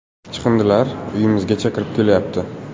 “Chiqindilar uyimizgacha kirib kelayapti.